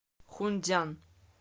хунцзян